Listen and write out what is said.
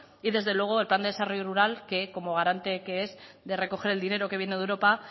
y desde luego el plan de desarrollo rural que como garante que es de recoger el dinero que viene de europa